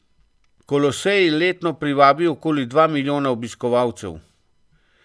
Kolosej letno privabi okoli dva milijona obiskovalcev.